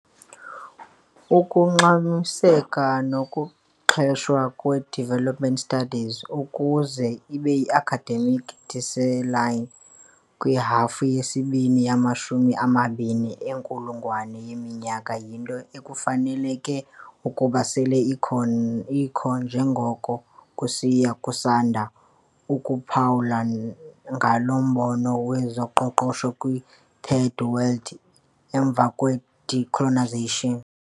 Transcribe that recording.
Ukungxamiseka nokuxheshwa kwe-development studies ukuze ibe yi-academic discipline kwihafu yesibini yamashumi amabini enkulungwane yeminyaka, yinto ebekufaneleke ukuba sele ikho nanjengoko kusiya kusanda ukuphawula ngalo mbono wezoqoqosho kwi-third world emva kwe-decolonisation.